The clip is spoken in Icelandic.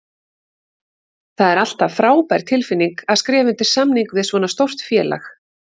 Það er alltaf frábær tilfinning að skrifa undir samning við svona stórt félag.